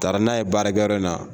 Taara n'a ye baarakɛ yɔrɔ in na